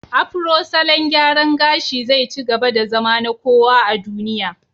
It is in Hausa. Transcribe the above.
Afro salon gyaran gashi zai ci gaba da zama na kowa a duniya.